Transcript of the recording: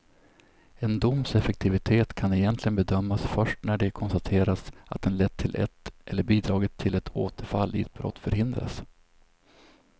En doms effektivitet kan egentligen bedömas först när det konstaterats att den lett till eller bidragit till att återfall i brott förhindrats.